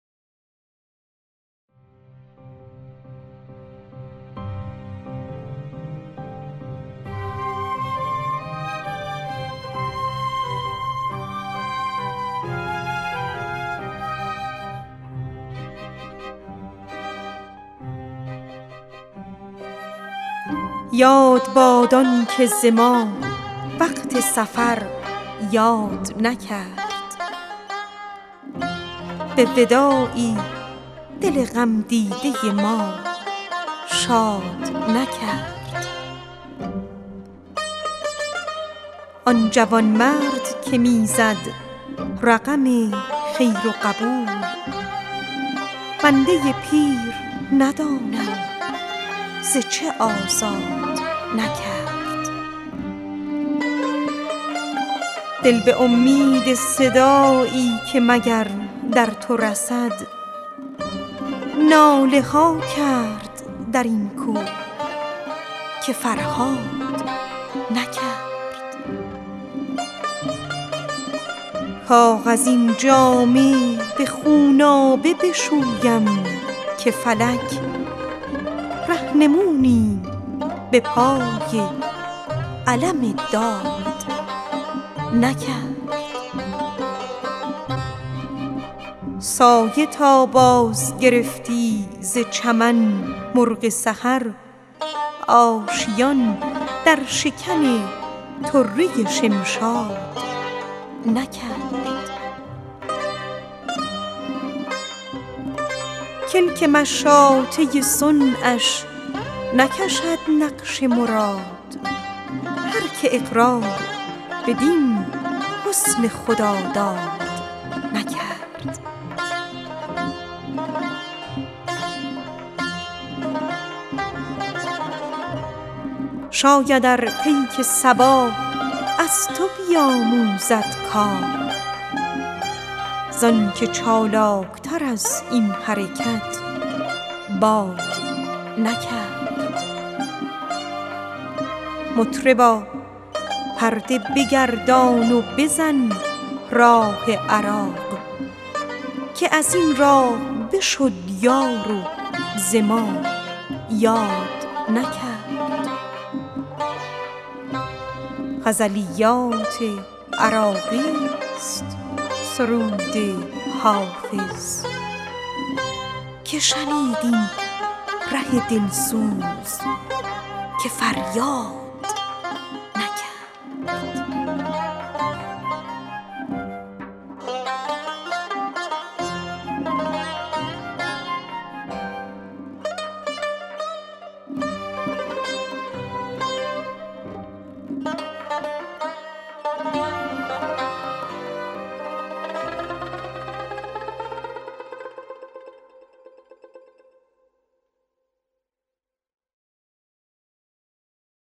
یاد باد آن که ز ما وقت سفر یاد نکرد به وداعی دل غم دیده ما شاد نکرد آن جوان بخت که می زد رقم خیر و قبول بنده پیر ندانم ز چه آزاد نکرد کاغذین جامه به خونآب بشویم که فلک رهنمونیم به پای علم داد نکرد دل به امید صدایی که مگر در تو رسد ناله ها کرد در این کوه که فرهاد نکرد سایه تا بازگرفتی ز چمن مرغ سحر آشیان در شکن طره شمشاد نکرد شاید ار پیک صبا از تو بیاموزد کار زآن که چالاک تر از این حرکت باد نکرد کلک مشاطه صنعش نکشد نقش مراد هر که اقرار بدین حسن خداداد نکرد مطربا پرده بگردان و بزن راه عراق که بدین راه بشد یار و ز ما یاد نکرد غزلیات عراقی ست سرود حافظ که شنید این ره دل سوز که فریاد نکرد